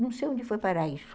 Não sei onde foi parar isso.